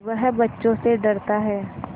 वह बच्चों से डरता है